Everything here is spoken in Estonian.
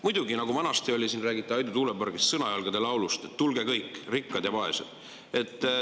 Muidugi, nagu vanasti oli – siin räägiti Aidu tuulepargist – Sõnajalgade laulus, et tulge kõik, rikkad ja vaesed.